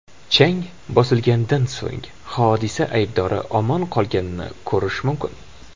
Chang bosilganidan so‘ng, hodisa aybdori omon qolganini ko‘rish mumkin.